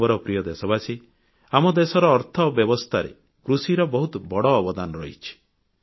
ମୋର ପ୍ରିୟ ଦେଶବାସୀ ଆମ ଦେଶର ଅର୍ଥ ବ୍ୟବସ୍ଥାରେ କୃଷିର ବହୁତ ଅବଦାନ ଅଛି